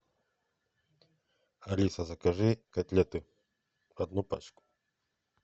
алиса закажи котлеты одну пачку